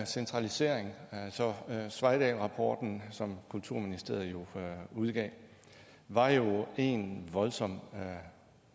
centralisering sveidahlrapporten som kulturministeriet udgav var jo ensbetydende en voldsom